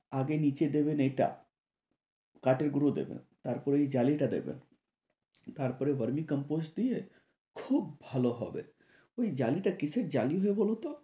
আগে নিচে দেবেন এটা, কাঠের গুড়ো দিবেন তারপর এই জালিটা দিবেন তারপর গরমের কম্পোশ দিয়ে খুব ভালো হবে। ঐ জালিটা কিসের জালি হয় বলোতো?